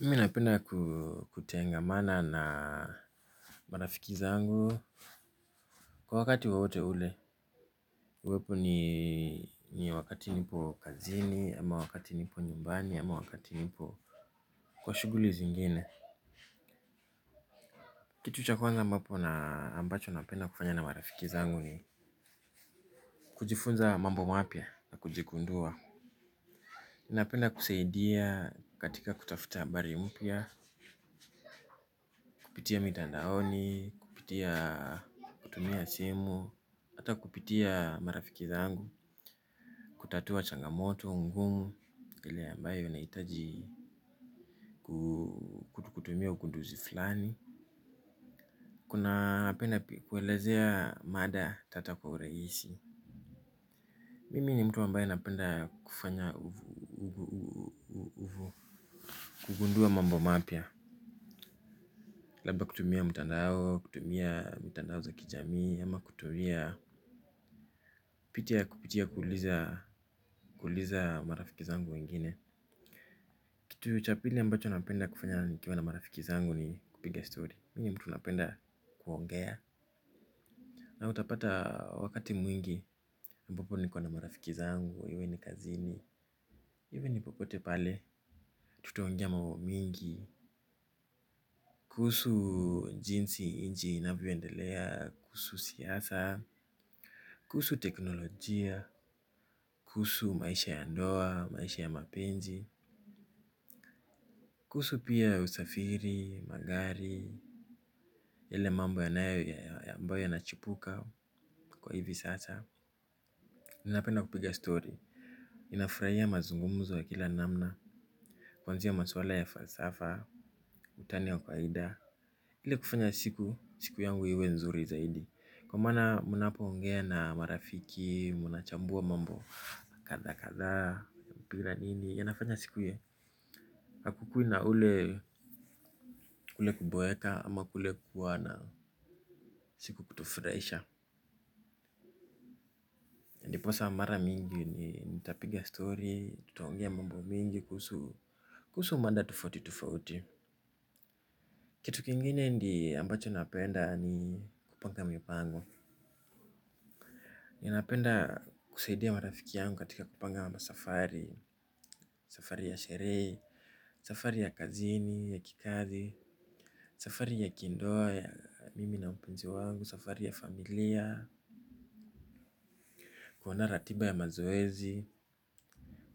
Mimi napenda kutangamana na marafiki zangu kwa wakati wowote ule, uwepo ni wakati nipo kazini, ama wakati nipo nyumbani, ama wakati nipo kwa shughuli zingine. Kitu cha kwanza ambapo na ambacho napenda kufanya na marafiki zangu ni kujifunza mambo mapya na kujigundua. Napenda kusaidia katika kutafuta habari mpya kupitia mitandaoni, kupitia kutumia simu, hata kupitia marafiki zangu, kutatua changamoto, ngumu, ile ambayo na hitaji kutumia ukunduzi fulani. Kuna penda kuelezea mada tata kwa urahisi. Mimi ni mtu ambae napenda kufanya kugundua mambo mapya. Labda kutumia mtandao, kutumia mtandao za kijamii ama kutumia pitia kupitia kuuliza marafiki zangu wengine. Kitu cha pili ambacho napenda kufanya nikiwa na marafiki zangu ni kupiga stori. Mimi ninmtu napenda kuongea. Na utapata wakati mwingi, ambapo niko na marafiki zangu iwe ni kazini iwe ni popote pale, tutaongea mambo mingi kuhusu jinsi nchi hii inavyo endelea kuhusu siasa, teknolojia, kuhusu maisha ya ndoa, maisha ya mapenzi kuhusu pia usafiri, magari, yale mambo yanayo ya ambayo yanachipuka kwa hivi sasa. Ninapenda kupiga stori, ninafurahia mazungumzo ya kila namna, kuanzia maswala ya falsafa, utani ya kwaida. Ili kufanya siku, siku yangu iwe nzuri zaidi kwa maana mnapo ongea na marafiki mnachambua mambo kadha kadhaa yanafanya siki kule kuboeka ama kule kuwa na siku kutufurahisha. Ndiposa mara mingi nitapiga story, nitaongea mambo mingi kuhusu mada tufauti tufauti. Kitu kingine ni ambacho napenda ni kupanga mipango. Ninapenda kusaidia marafiki yangu katika kupanga masafari, safari ya sherehe, safari ya kazini, ya kikazi, safari ya kindoa, ya mimi na mpenzi wangu, safari ya familia, kuandaa ratiba ya mazoezi,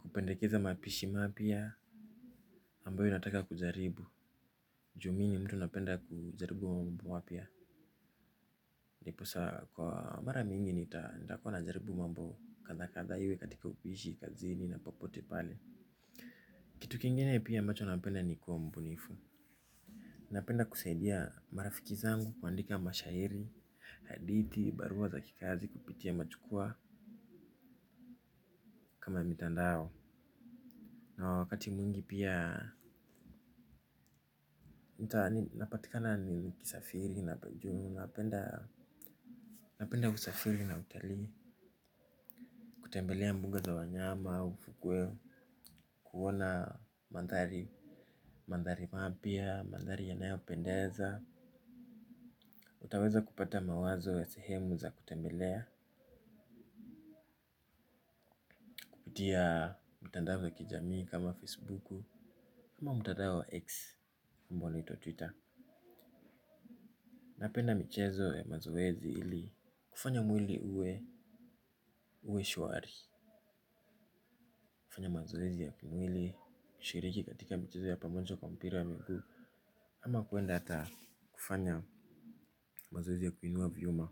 kupendekeza mapishi mapya ambayo nataka kujaribu juu mimi ni mtu ambaye napenda kujaribu vitu mpya. Ndiposa kwa mara mingi nitakua na jaribu mambo kadha kadha iwe katika upishi, kazini na popote pale. Kitu kingine pia ambacho napenda ni kuwa mbunifu. Napenda kusaidia marafiki zangu kuandika mashairi, hadithi, barua za kikazi, kupitia machukua kama mitandao. Na wakati mwingi pia napatikana niki safiri na peju napenda napenda kusafiri na utalii kutembelea mbuga za wanyama. Kutia mtandao za kijamii kama facebook, kama mtandao wa X amba unaitwa twitter. Napenda michezo ya mazoezi ili kufanya mwili uwe, uwe shwari. Kufanya mazoezi ya kimwili kishiriki katika michezo ya pamojo kwa mpira ya mguu. Ama kuenda hata kufanya mazoezi ya kuinua vyuma.